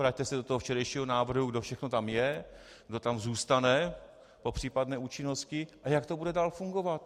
Vraťte se do toho včerejšího návrhu, kdo všechno tam je, kdo tam zůstane po případné účinnosti a jak to bude dál fungovat.